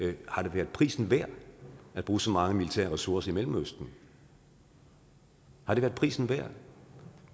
det har været prisen værd at bruge så mange militære ressourcer i mellemøsten har det været prisen værd